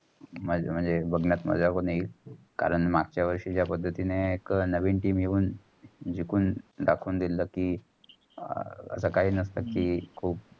म्हणजे बघण्यात मजा पण येईल. कारण मागचा वर्षी जा पद्धतींनी एक नवीन team येवून जिकूंन धाखवून दिल कि अह आत्ता कायही नस्त की. खूप